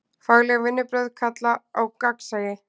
Fagleg vinnubrögð kalla á gagnsæi.